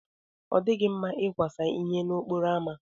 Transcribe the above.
Ọ dịghị mma ịkwasa ihe n'okporo ámá.